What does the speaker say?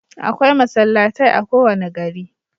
Akwai masallatai a kowane gari.